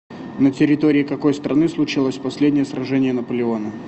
на территории какой страны случилось последнее сражение наполеона